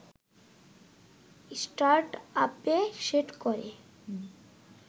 স্টার্টআপে set করে